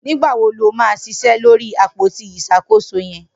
Nigbà wó ló mà ṣiṣẹ lóri ápótí iṣákósó yẹ̀n?